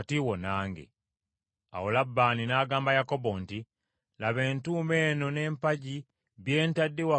Awo Labbaani n’agamba Yakobo nti, “Laba entuumu eno n’empagi bye ntadde wakati wo nange.